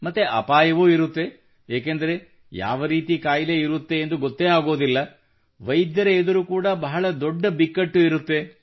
ಮತ್ತು ಅಪಾಯವೂ ಇರುತ್ತದೆ ಏಕೆಂದರೆ ಯಾವ ರೀತಿಯ ಕಾಯಿಲೆ ಇರುತ್ತದೆಯೆಂದು ಗೊತ್ತೇ ಆಗುವುದಿಲ್ಲ ವೈದ್ಯರ ಎದುರು ಕೂಡಾ ಬಹಳ ದೊಡ್ಡ ಬಿಕ್ಕಟ್ಟು ಇರುತ್ತದೆ